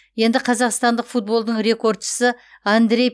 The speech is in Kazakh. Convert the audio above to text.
енді қазақстандық футболдың рекордшысы андрей